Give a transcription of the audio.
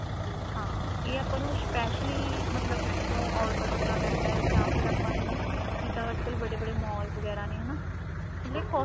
ਹਾਂ ਇਹ ਆਪਾਂ ਨੂੰ specially ਮਤਲਬ ਕੀਤੋ order ਕਰਨਾ ਪੈਂਦਾ ਜਾਂ ਫ਼ਿਰ ਆਪਾਂ ਨੂੰ ਜਿੱਦਾਂ ਅੱਜਕਲ ਬੜੇ ਬੜੇ mall ਵਗੈਰਾ ਨੇ ਹਨਾ ਮਤਲਬ ਇਹ